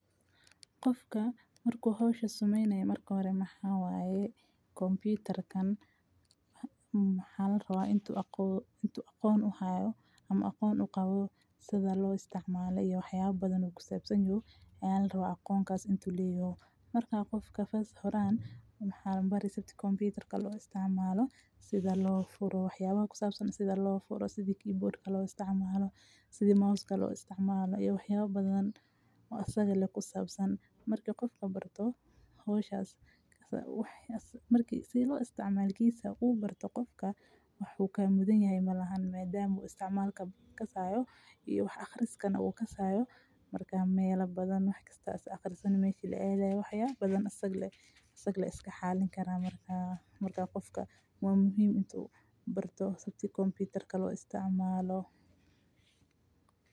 Qofka marku howsha sumeynay mar kore maxaawa ay computer kan maaxal raba intuu aqoon u hayo ama aqoon u qabo sida loo isticmaalo iyo waxyaab badan ku saabsanyu, caali raba aqoon kaas intuu leeyo. Markaa qofka first horaan maxa lumbar sabti computer ka loo isticmaalo sida loo furro, waxyaabo ku saabsan, sida loo furro, sida keyboard ka loo isticmaalo, sida mouse ka loo isticmaalo iyo waxyaabo badan oo asag la ku saabsan. Markii qofku barto, hooshas asal waxyastah markii sii loo isticmaliyiisaa u barto qofka wuxuu ka mudanyahay malahan maadaama uu isticmaal ka kasayo iyo wax akhriska nagu ka saayo. Markaa meelo badan waxkastaas akhrista ni meshii leeday waxyaabo badan asag la iska xalin karaa markaa. Markaa qofka waa muhiim intuu barto sabti computer ka loo isticmaalo.